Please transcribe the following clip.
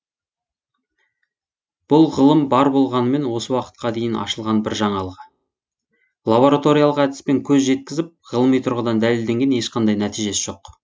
бұл ғылым бар болғанымен осы уақытқа дейін ашылған бір жаңалығы лабораториялық әдіспен көз жеткізіп ғылыми тұрғыдан дәлелденген ешқандай нәтижесі жоқ